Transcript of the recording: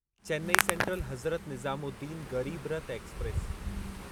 Chennai Central Hazrat Nizamuddin Garib Rath express